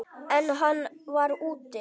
En hann var úti.